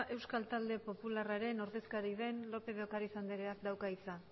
euskal talde popularraren ordezkari den lópez de ocariz andereak dauka hitza